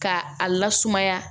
Ka a lasumaya